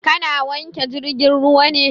Ka na wanke jirgin ruwa ne?